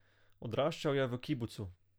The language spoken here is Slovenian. Odraščal je v kibucu.